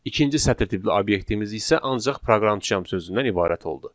İkinci sətr tipli obyektimiz isə ancaq proqramçıyam sözündən ibarət oldu.